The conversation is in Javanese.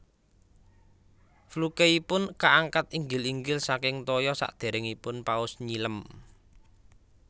Flukeipun kaangkat inggil inggil saking toya sadéréngipun paus nyilem